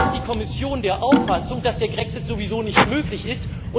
Oder ist die Kommission der Auffassung, dass der Grexit sowieso nicht möglich ist?